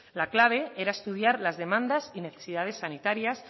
la clave era estudiar las demandas y necesidades sanitarias